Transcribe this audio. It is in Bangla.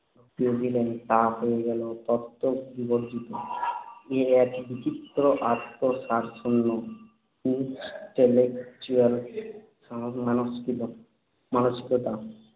ঢুকিয়ে দিলেন, তা হয়ে গেল তত্ত্ববিবর্জিত। এ এক বিচিত্র অন্তঃসারশূন্য intellectual মানসিকতা মানসিকতা।